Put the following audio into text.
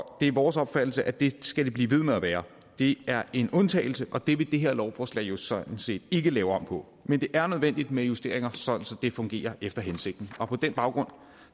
det er vores opfattelse at det skal det blive ved med at være det er en undtagelse og det vil det her lovforslag sådan set ikke lave om på men det er nødvendigt med justeringer så det fungerer efter hensigten og på den baggrund